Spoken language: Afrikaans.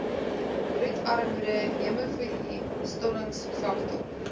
bloedarmoede hemofilie stollingsfaktor